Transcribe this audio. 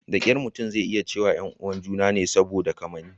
Da kyar mutum zai iya cewa 'yan uwan ​​juna ne saboda kamanni.